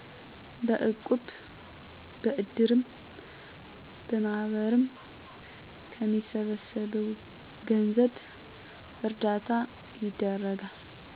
በእቁብ፣ በእድርም፣ በማህበርም ከሚሰበሰበው ገንዘብ እርዳታ ይደረጋል።